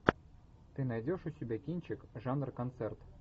ты найдешь у себя кинчик жанр концерт